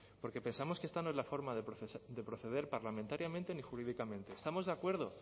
porque pensamos que esta no es la forma de proceder parlamentariamente ni jurídicamente estamos de acuerdo